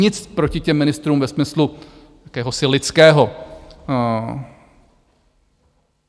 Nic proti těm ministrům ve smyslu jakéhosi lidského.